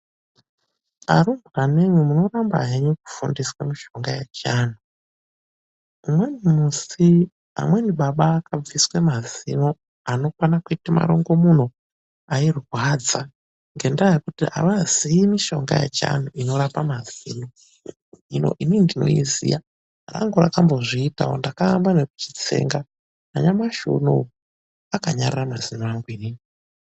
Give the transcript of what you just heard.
Arumbwanemwi, munorambe henyu kufundiswe mishonga yechianthu, umweni musi amweni baba akabviswe mazino, anokwana kuite marongomuna airwadza ngendaa yekuti avazii mishonga yechianthu inorape mazino. Hino inini ndinouziya ngekuti rangu rakambozviitawo ngekuti ndakaamba ekuutsenga nanyamushi unowu akanyarara mazino angu.